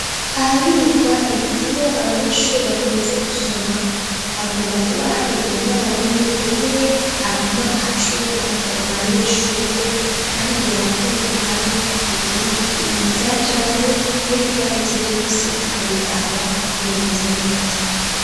Ahabikwa ibitabo abanyeshure bakunze gusoma hakunda kuba hari umwarimu umwe aguma acunga abo banyeshure kandi yakire ibitabo ivyajanywe n'ibigarutse vyose akabiraba ko bimeze neza.